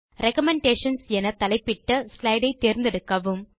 recommendations என தலைப்பிட்ட slide ஐ தேர்ந்தெடுக்கவும்